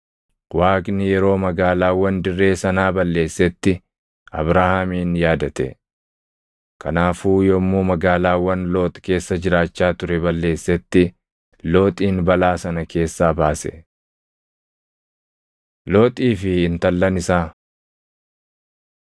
Waaqni yeroo magaalaawwan dirree sanaa balleessetti Abrahaamin yaadate; kanaafuu yommuu magaalaawwan Loox keessa jiraachaa ture balleessetti Looxin balaa sana keessaa baase. Looxii fi Intallan Isaa